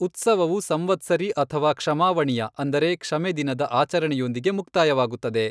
ಉತ್ಸವವು ಸಂವತ್ಸರಿ ಅಥವಾ ಕ್ಷಮಾವಣಿಯ ಅಂದರೆ ,ಕ್ಷಮೆ ದಿನದ, ಆಚರಣೆಯೊಂದಿಗೆ ಮುಕ್ತಾಯವಾಗುತ್ತದೆ.